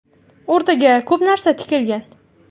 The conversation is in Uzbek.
O‘rtaga ko‘p narsa tikilgan.